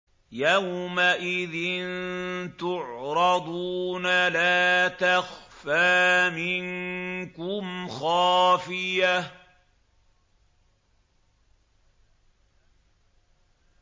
يَوْمَئِذٍ تُعْرَضُونَ لَا تَخْفَىٰ مِنكُمْ خَافِيَةٌ